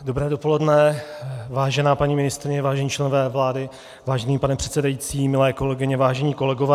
Dobré dopoledne, vážená paní ministryně, vážení členové vlády, vážený pane předsedající, milé kolegyně, vážení kolegové.